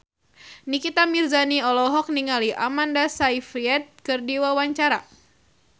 Nikita Mirzani olohok ningali Amanda Sayfried keur diwawancara